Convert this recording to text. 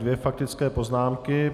Dvě faktické poznámky.